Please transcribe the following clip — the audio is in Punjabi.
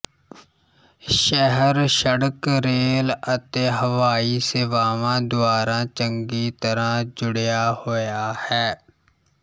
ਸ਼ਹਿਰ ਸੜਕ ਰੇਲ ਅਤੇ ਹਵਾਈ ਸੇਵਾਵਾਂ ਦੁਆਰਾ ਚੰਗੀ ਤਰ੍ਹਾਂ ਜੁੜਿਆ ਹੋਇਆ ਹੈ